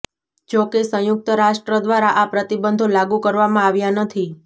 જોકે સંયુક્ત રાષ્ટ્ર દ્વારા આ પ્રતિબંધો લાગૂ કરવામાં આવ્યા નથી